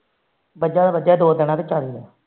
ਬੱਝਾ ਦਾ ਬੱਝਾ ਦੋ ਦੇਣਾ ਚ ਚਾਲੀ